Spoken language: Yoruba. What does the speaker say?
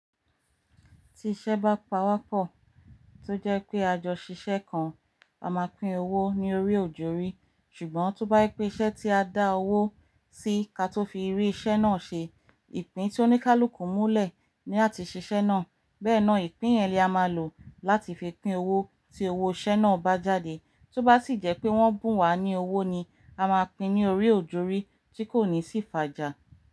Tí iṣẹ́ bá pawọ́pọ̀, tó jẹ́ pé a jọ ṣiṣẹ́ kan, a máa pín owó ní orí òjòrí. Ṣùgbọ́n tó bá pẹ́ iṣẹ́ tí a dá owó sí kí a tó fi rí iṣẹ́ náà ṣe, ìpín tí ó ní ká lù kú múlẹ̀ ní a ti ṣe iṣẹ́ náà. Bẹ́ẹ̀ náà ìpín yẹn ni a máa lò láti fi pín owó tí owó iṣẹ́ náà bá jáde. Tó bá sì jẹ́ pé wọ́n bùn wá ní owó ni a máa pín ní orí òjòrí tí kò ní sì fàjà.